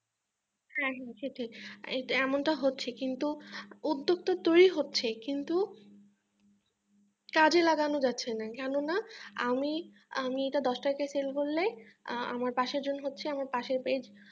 হ্যাঁ হ্যাঁ ঠিক ঠিক এমনটা হচ্ছে কিন্তু উদ্যোক্তা তৈরি হচ্ছে কিন্তু কাজে লাগানো যাচ্ছে না কেননা আমি আমি এটা দশ টাকায় sale করলে আমার পাশের জন হচ্ছে আমার পাশের page